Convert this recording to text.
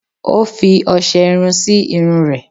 Ó fi ọṣẹ irun sí irun rẹ̀